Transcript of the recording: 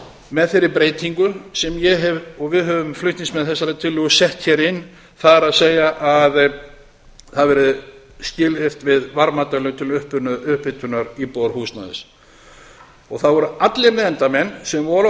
með þeirri breytingu sem ég hef og við höfum flutningsmenn þessarar tillögu sett hér inn það er að það verði skilyrt við varmadælur til upphitunar íbúðarhúsnæðis það voru allir nefndarmenn sem voru